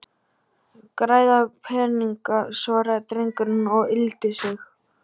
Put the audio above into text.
Græða pening- svaraði drengurinn og yggldi sig.